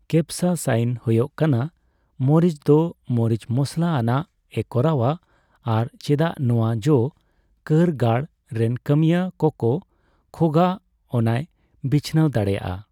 Capsaicin ᱦᱳᱭᱳᱜ ᱠᱟᱱᱟ ᱢᱚᱨᱤᱪ ᱫᱚ ᱢᱚᱨᱤᱪ ᱢᱚᱥᱞᱟ ᱟᱱᱟᱜ ᱮ ᱠᱚᱨᱟᱣᱼᱟ, ᱟᱨ ᱪᱮᱫᱟᱜ ᱱᱚᱣᱟ ᱡᱚ ᱠᱟᱹᱨᱜᱟᱹᱲ ᱨᱮᱱ ᱠᱟᱹᱢᱤᱭᱟᱹ ᱠᱚᱠᱚ ᱠᱷᱳᱜᱟ ᱚᱱᱟᱭ ᱵᱤᱪᱷᱱᱟᱹᱣ ᱫᱟᱲᱮᱹᱭᱟᱜᱼᱟ ᱾